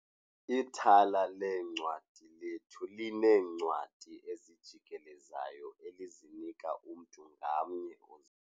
Ithala leencwadi lethu lineencwadi ezijikelezayo elizinika umntu ngamnye.